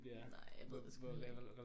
Nej jeg ved det sgu heller ikke